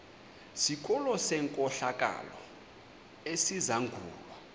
sikolo senkohlakalo esizangulwa